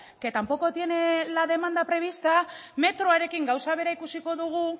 que tampoco tiene la demanda prevista metroarekin gauza bera ikusiko dugu